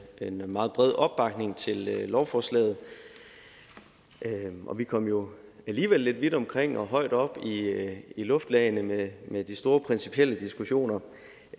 en meget bred opbakning til lovforslaget vi kom jo alligevel lidt vidt omkring og højt op i luftlagene med med de store principielle diskussioner